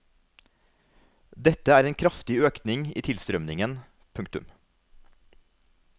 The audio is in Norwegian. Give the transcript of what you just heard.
Dette er en kraftig økning i tilstrømningen. punktum